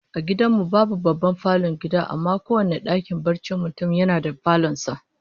A gidan mu babu babban falon gida, amma kowane dakin barcin mutum yana da falon sa